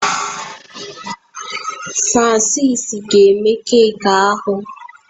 Francis ga eme keki ahụ